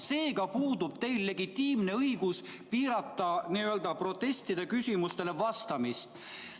Seega puudub teil legitiimne õigus piirata n-ö protestide küsimustele vastamist.